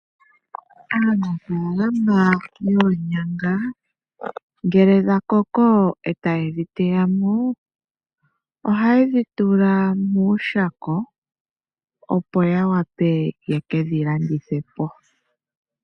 Aanafalama yoonyanga, ngele dhakoko e taye dhi teyamo, ohaye dhi tula mooshako, opo ya wape yekedhi landithe po.